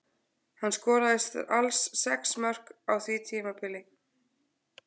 Hann skoraði alls sex mörk á því tímabili.